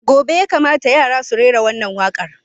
Gobe ​​ya kamata yara su rera wannan waƙar!